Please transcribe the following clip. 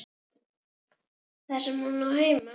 Þar sem hún á heima.